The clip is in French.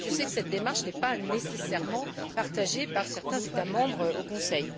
Je sais que cette démarche n'est pas nécessairement partagée par certains États membres au Conseil.